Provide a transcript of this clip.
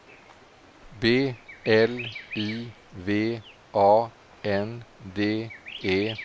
B L I V A N D E